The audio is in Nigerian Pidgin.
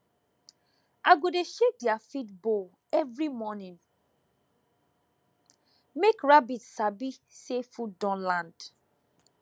i go dey shake their feed bowl every morning make rabbit sabi say food don land